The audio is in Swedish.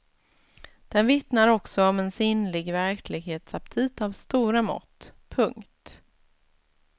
Den vittnar också om en sinnlig verklighetsaptit av stora mått. punkt